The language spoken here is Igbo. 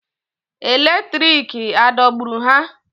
Eletriki adọgburu ha?